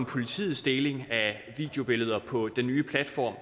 politiets deling af videobilleder på den nye platform